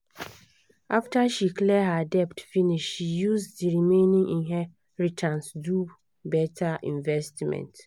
after she clear her debt finish she use the remaining inheritance do better investment.